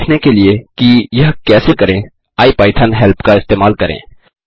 यह देखने के लिए कि यह कैसे करें आईपाइथन हेल्प का इस्तेमाल करें